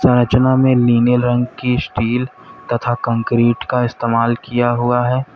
में नीले रंग की स्टील तथा कंक्रीट का इस्तेमाल किया हुआ है।